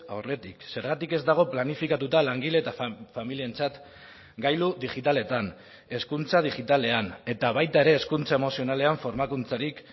aurretik zergatik ez dago planifikatuta langile eta familientzat gailu digitaletan hezkuntza digitalean eta baita ere hezkuntza emozionalean formakuntzarik